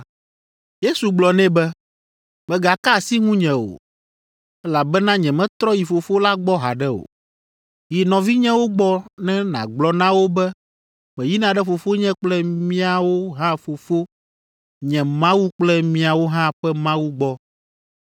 Yesu gblɔ nɛ be, “Mègaka asi ŋunye o, elabena nyemetrɔ yi Fofo la gbɔ haɖe o. Yi nɔvinyewo gbɔ ne nàgblɔ na wo be meyina ɖe Fofonye kple miawo hã Fofo, nye Mawu kple miawo hã ƒe Mawu gbɔ.”